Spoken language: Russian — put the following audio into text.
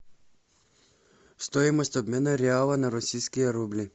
стоимость обмена реала на российские рубли